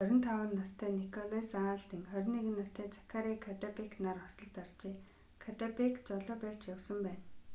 25 настай николас алден 21 настай закари каддебэк нар осолд оржээ каддебэк жолоо барьж явсан байна